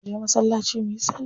Mu je masallaci muyi salla.